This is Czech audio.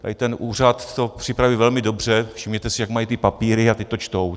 Tady ten úřad to připraví velmi dobře, všimněte si, jak mají ty papíry a teď to čtou.